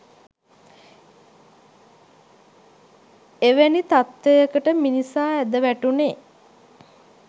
එවැනි තත්ත්වයකට මිනිසා ඇද වැටුණේ